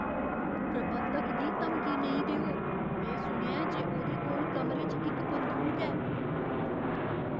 प्रबंधक गी धमकी नेईं देओ। में सुनेआ ऐ जे ओह्दे कोल कमरे च इक बंदूक ऐ।